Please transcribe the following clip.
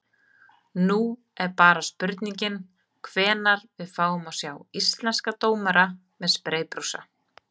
Nú er bara spurningin hvenær við fáum að sjá íslenska dómara með spreybrúsa?